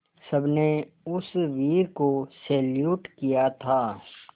सबने उस वीर को सैल्यूट किया था